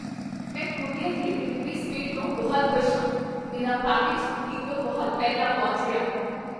ਮੈਂ ਕੋਰੀਅਰ ਦੀ delivery speed ਤੋਂ ਬਹੁਤ ਖੁਸ਼ ਹਾਂ। ਮੇਰਾ ਪੈਕੇਜ ਉਮੀਦ ਤੋਂ ਬਹੁਤ ਪਹਿਲਾਂ ਪਹੁੰਚ ਗਿਆ!